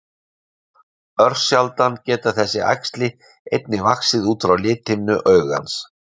Örsjaldan geta þessi æxli einnig vaxið út frá lithimnu augans.